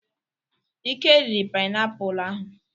Ike riri painiapulu ahụ.